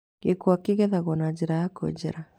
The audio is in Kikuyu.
Gĩkwa kĩ gethagwo na njĩra ya kwenjera.